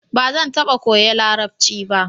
Ba zan taba koya larabci ba